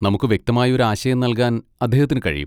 നമുക്ക് വ്യക്തമായ ഒരു ആശയം നൽകാൻ അദ്ദേഹത്തിന് കഴിയും.